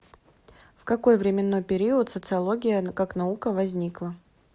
в какой временной период социология как наука возникла